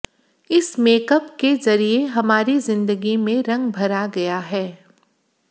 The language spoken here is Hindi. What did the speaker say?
इस मेकअप के जरिए हमारी जिंदगी में रंग भरा गया है